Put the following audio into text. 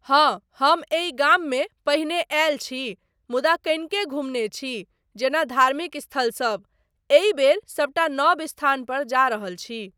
हाँ, हम एहि गाममे पहिने आयल छी मुदा कनिके घूमने छी जेना धार्मिक स्थल सब, एहि बेर सबटा नव स्थान पर जा रहल छी।